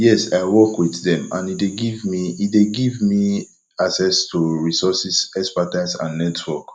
yes i work with dem and e dey give e dey give me access to resources expertise and network